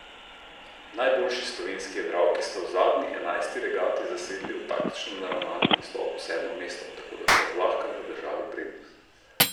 Najboljši slovenski jadralki sta v zadnji, enajsti regati, zasedli v taktično naravnanem nastopu sedmo mesto, tako da sta zlahka zadržali prednost.